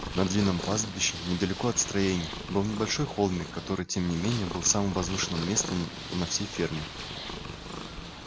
на длинном пастбище недалеко от строений был небольшой холмик который тем не менее был самым возвышенным местом на всей ферме